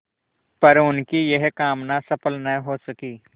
पर उनकी यह कामना सफल न हो सकी